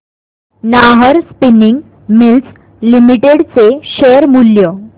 Nahar spinning mills limited चे share मूल्य